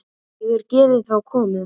Og er geðið þá komið.